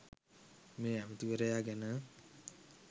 මේ ඇමැතිවරයා ගැන